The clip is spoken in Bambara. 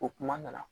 O kuma nana